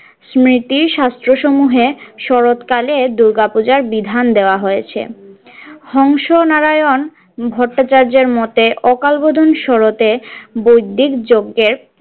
স্মৃতি শাস্ত্র সমূহের শরৎ কালের দূর্গা পূজার বিধান দেওয়া হয়েছে হংস নারায়ণ ভট্টাচার্যের মতে অকালবোধন শরৎ এ বৈদিক যজ্ঞের।